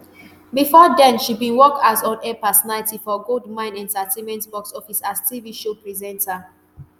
bifor den she bin work as onair personality for goldmyne entertainment box office as tv show presenter